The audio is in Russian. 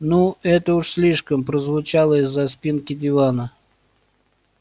ну это уж слишком прозвучало из-за спинки дивана